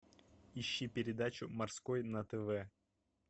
ищи передачу морской на тв